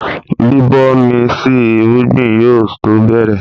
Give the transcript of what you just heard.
Bíbomi sí irúgbìn yóò tó bẹ̀rẹ̀